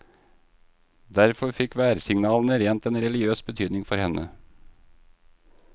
Derfor fikk værsignalene rent en religiøs betydning for henne.